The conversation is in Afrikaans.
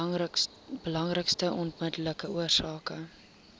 belangrikste onmiddellike oorsake